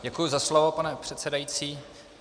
Děkuji za slovo, pane předsedající.